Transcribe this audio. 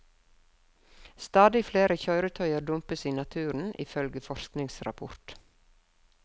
Stadig flere kjøretøyer dumpes i naturen, ifølge forskningsrapport.